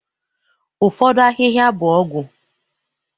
ụfọdụ ahịhịa bụ ọgwụ